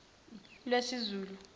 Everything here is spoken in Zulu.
lwesizulu